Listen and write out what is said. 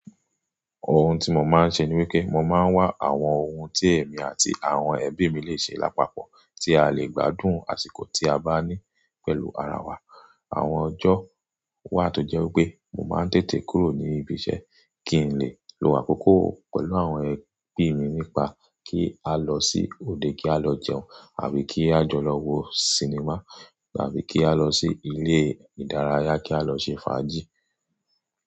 But ohun tí mo máa ń ṣe ni wípé mo máa ń wá àwọn ohun tí èmi àti àwọn ẹbí mi lè ṣe lápapọ̀ tí a lè gbádùn àsìkò tí a bá ní pẹ̀lú ara wa. Àwọn ọjọ́ wà tó jẹ́ wípé mo máa ń tètè kúrò ní ibi iṣẹ́ kí n lè lo àkókò pẹ̀lú àwọn ẹbí mi nípa kí á lọ sí òde kí á lọ jẹun àbí kí á jọ lọ wo sinimá àbí kí á lọ sí ilé ìdárayá kí á lọ ṣe fàájì.